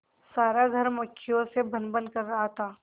सारा घर मक्खियों से भनभन कर रहा था